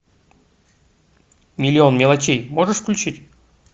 миллион мелочей можешь включить